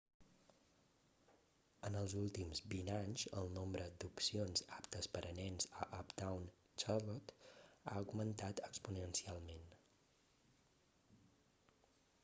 en els últims 20 anys el nombre d'opcions aptes per a nens a uptown charlotte ha augmentat exponencialment